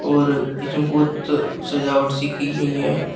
और इसमें बहोत सजावट सी की गई है।